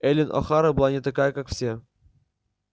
эллин охара была не такая как все